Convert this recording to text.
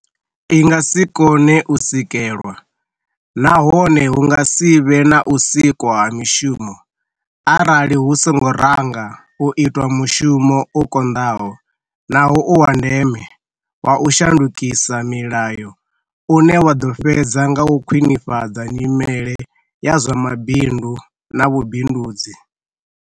i nga si kone u swikelwa nahone hu nga si vhe na u sikwa ha mishumo arali hu songo ranga u itwa mushumo u konḓaho naho u wa ndeme wa u shandukisa milayo une wa ḓo fhedza nga u khwinifhadza nyimele ya zwa mabindu na vhubindudzi.